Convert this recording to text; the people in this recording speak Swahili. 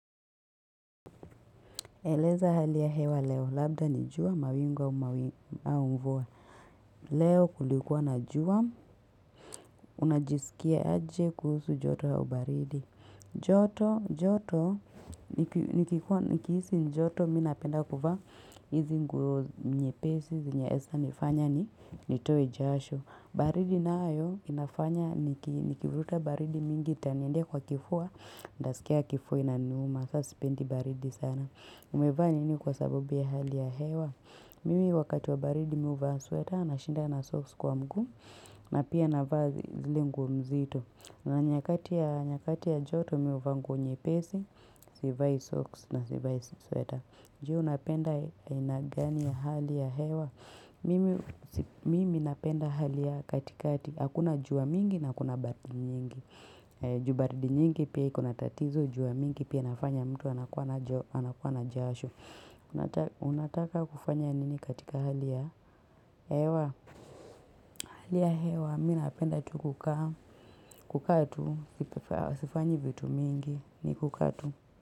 Eleza hali ya hewa leo, labda ni jua mawingu aumvua. Leo kulikuwa na jua, unajisikia aje kuhusu joto ya ubaridi. Joto, joto, nikiisi joto mi napenda kuwa hizi nyepesi, zinaesa nifanya nitowe jasho. Baridi nayo inafanya, nikivuruta baridi mingi itaniendea kwa kifua, ntasikia kifua inaniuma, sa sipendi baridi sana. Umevaa nini kwa sabubi ya hali ya hewa Mimi wakati wa baridi mi huvaa sweater na shinda na socks kwa mguu na pia na vaa zile nguo mzito na nyakati ya joto mi huvaa nguo nyepesi sivai socks na sivai sweater Je unapenda aina gani ya hali ya hewa Mimi napenda hali ya katikati Hakuna jua mingi na hakuna baridi nyingi Ju baridi nyingi pia iko na tatizo jua mingi pia inafanya mtu anakuwa na jasho. Unataka kufanya nini katika hali ya hewa. Hali ya hewa, mi napenda tu kukaa tu. Sifanyi vitu mingi ni kukaatu.